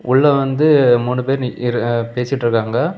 உள்ள வந்து மூணு பேர் நி இரு அ பேசிட்டு இருக்காங்க.